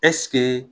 Ɛseke